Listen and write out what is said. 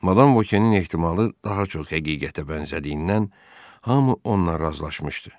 Madam Vokenin ehtimalı daha çox həqiqətə bənzədiyindən, hamı onunla razılaşmışdı.